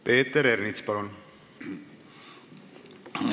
Peeter Ernits, palun!